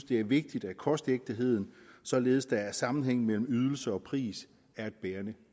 det er vigtigt at kostægtheden således at der er sammenhæng mellem ydelse og pris er et bærende